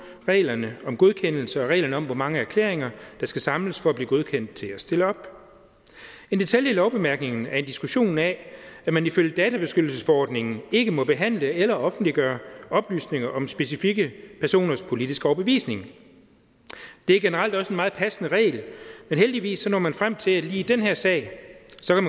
reglerne om godkendelse og reglerne om hvor mange erklæringer der skal samles for at blive godkendt til at stille op en detalje i lovbemærkningerne er en diskussion af at man ifølge databeskyttelsesforordningen ikke må behandle eller offentliggøre oplysninger om specifikke personers politiske overbevisning det er generelt også en meget passende regel men heldigvis når man frem til at man lige i den her sag